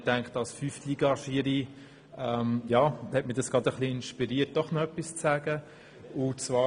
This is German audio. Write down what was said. Das hat mich als Fünftliga-Schiri dazu inspiriert, doch etwas zu sagen.